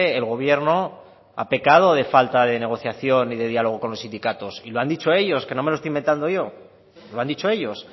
el gobierno ha pecado de falta de negociación y de diálogo con los sindicatos y lo han dicho ellos que no me lo estoy inventado yo lo han dicho ellos